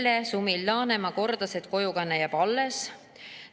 Merle Sumil-Laanemaa kordas, et kojukanne jääb alles.